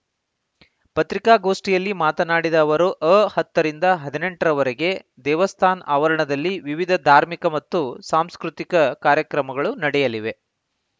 ಪತ್ರಿಕಾಗೋಷ್ಠಿಯಲ್ಲಿ ಮಾತನಾಡಿದ ಅವರು ಅ ಹತ್ತರಿಂದ ಹದಿನೆಂಟರವರೆಗೆ ದೇವಸ್ಥಾನ್ ಆವರಣದಲ್ಲಿ ವಿವಿಧ ಧಾರ್ಮಿಕ ಹಾಗೂ ಸಾಂಸ್ಕೃತಿಕ ಕಾರ್ಯಕ್ರಮಗಳು ನಡೆಯಲಿವೆ